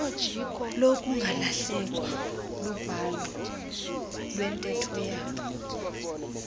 lokungalahlekwa lubhalo iwenteethoyabo